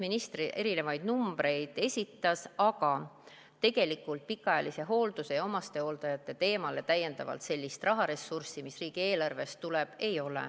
Minister esitas erinevaid numbreid, aga tegelikult pikaajalise hoolduse ja omastehooldajate probleemile riigieelarvest täiendavat rahalist ressurssi ei tule.